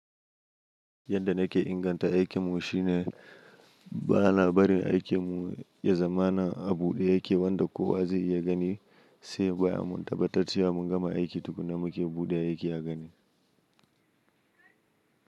Yadda nake inganta aikin mu shine ba na barin aikin mu ya zama na a buɗe yake wanda kowa zai iya gani sai bayan mun tabbatar cewa mun gama aiki duk da muke buɗe yake a gani.